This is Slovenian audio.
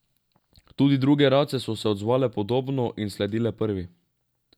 Tudi druge race so se odzvale podobno in sledile prvi.